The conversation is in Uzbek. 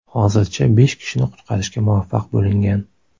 Hozircha besh kishini qutqarishga muvaffaq bo‘lingan.